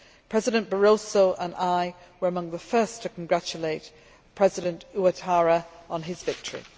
President Barroso and I were among the first to congratulate President Ouattara on his victory.